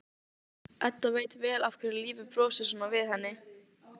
Edda veit vel af hverju lífið brosir svona við henni.